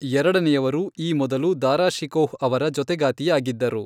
ಎರಡನೆಯವರು ಈ ಮೊದಲು ದಾರಾ ಶಿಕೋಹ್ ಅವರ ಜೊತೆಗಾತಿಯಾಗಿದ್ದರು.